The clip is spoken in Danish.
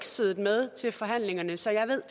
siddet med til forhandlingerne så jeg ved